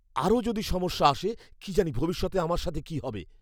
আরও যদি সমস্যা আসে, কী জানি ভবিষ্যতে আমার সাথে কী হবে!